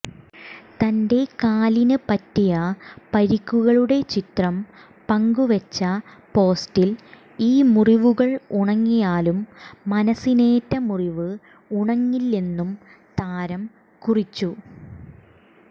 തന്റെ കാലിന് പറ്റിയ പരിക്കുകളുടെ ചിത്രം പങ്കുവെച്ച പോസ്റ്റിൽ ഈ മുറിവുകൾ ഉണങ്ങിയാലും മനസ്സിനേറ്റ മുറിവ് ഉണങ്ങില്ലെന്നും താരം കുറിച്ചു